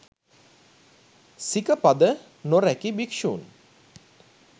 සිකපද නොරැකි භික්‍ෂූන්